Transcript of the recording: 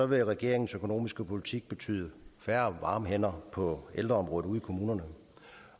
vil regeringens økonomiske politik betyde færre varme hænder på ældreområdet ude i kommunerne